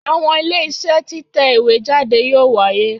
Àwọn Iléeṣẹ́ títẹ̀ ìwé jáde yóò wáyé